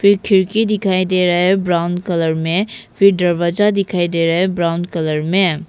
एक खिड़की दिखाई दे रहा है ब्राउन कलर में फिर दरवाजा दिखाई दे रहा है ब्राउन कलर में।